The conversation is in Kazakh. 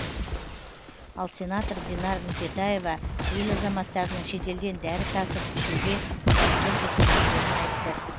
ал сенатор динар нүкетаева ел азаматтарының шетелден дәрі тасып ішуге мәжбүр екендіктерін айтты